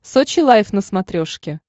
сочи лайф на смотрешке